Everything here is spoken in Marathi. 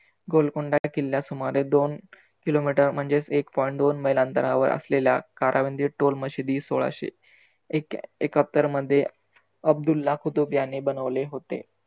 गोलकोंडा किल्ला सुमारे दोन kilometer म्हणजेचं एक point दोन मैला अंतरावर असलेल्या कारावंदी टोल मशिदी सोळाशे एक एक्कातर मध्ये अब्दुल्ला कुतुब यांनी बनवले होते